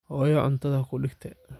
Xoyo cuntadha kuudigte.